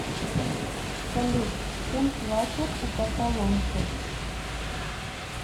салют чем платят у каталонцев